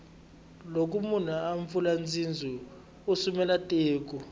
loko munhu a pfula bindzu u sumela tiko